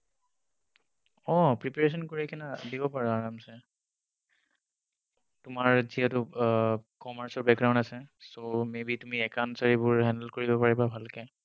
অহ preparation কৰি কিনে দিব পাৰা আৰামচে। তোমাৰ যিহেতু আহ commerce ৰ background আছে, so maybe তুমি accounts ৰ এইবোৰ handle কৰিব পাৰিবা ভালকে।